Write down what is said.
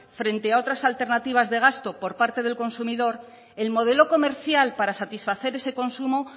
frente a otras alternativas de gasto por parte del consumidor el modelo comercial para satisfacer ese consumo